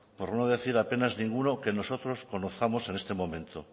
por no decir a penas ninguno que nosotros conozcamos en este momento